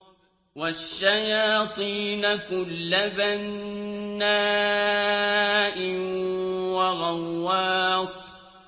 وَالشَّيَاطِينَ كُلَّ بَنَّاءٍ وَغَوَّاصٍ